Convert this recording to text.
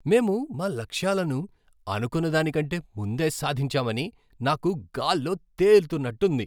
మేము మా లక్ష్యాలను అనుకున్నదాని కంటే ముందే సాధించామని నాకు గాల్లో తేలుతున్నట్టు ఉంది!